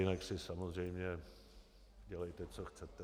Jinak si samozřejmě dělejte, co chcete.